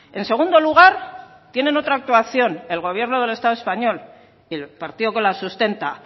en segundo lugar tienen otra actuación el gobierno del estado español y el partido que lo sustenta